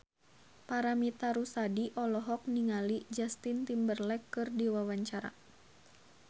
Paramitha Rusady olohok ningali Justin Timberlake keur diwawancara